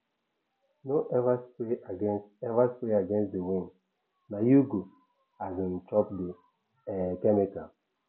no ever spray against ever spray against the windna you go um chop the um chemical